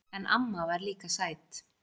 En amma var líka sæt.